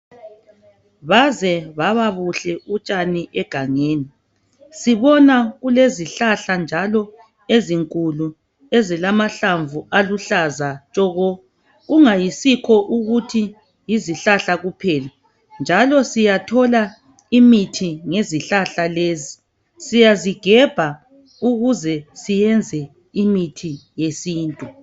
Baze bababuhle utshani egangeni sibona kulezihlahla njalo ezinkulu ezilamahlamvu aluhlaza tshoko kungayisikho ukuthi yizihlahla kuphela njalo siyathola imithi ngezihlahla lezi siyazigebha ukuze siyenze imithi yesintu.